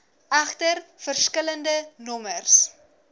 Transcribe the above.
egter verskillende nommers